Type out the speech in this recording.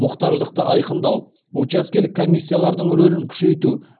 мұқтаждықты айқындау учаскелік комиссиялардың рөлін күшейту